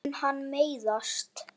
Mun hann meiðast?